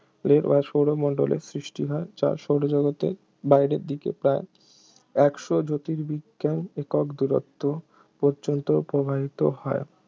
সৌরমণ্ডলের সৃষ্টি হয় যা সৌরজগতের বাইরের দিকে প্রায় একশো জ্যোতির্বিজ্ঞান একক দূরত্ব পর্যন্ত প্রবাহিত হয়